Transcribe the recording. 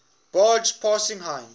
barge passing heinz